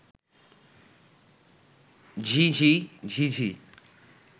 ঝিঁ ঝি ঝিঁ ঝি